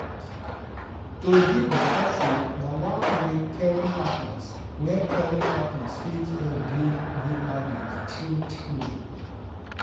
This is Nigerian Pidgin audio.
to give better food na one way caring partner way caring partner fit help build good habit true-true.